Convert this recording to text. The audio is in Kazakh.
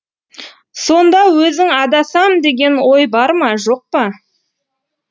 сонда өзің адасам деген ой бар ма жоқ па